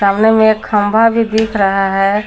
सामने में एक खंबा भी दिख रहा है।